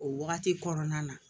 O wagati kɔnɔna na